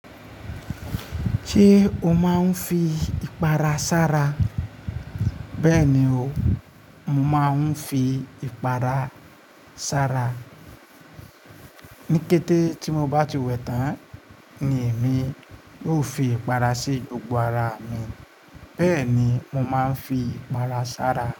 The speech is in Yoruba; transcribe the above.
Ṣé o máa ń fi ìpara sára? Bẹ́ẹ̀ni o, mo máa ń fi ìpara sára. Ni kété ti mo bá ti wẹ tán ni èmi ó fi ìpara sí gbogbo ara mi. Bẹ́ẹ̀ ni mo máa ń fi ìpara sára.